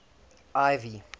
ivy